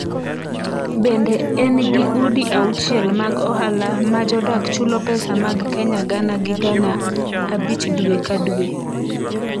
Bende, en gi udi 6 mag ohala ma jodak chulo pesa mag Kenya gana gi gana 5 dwe ka dwe.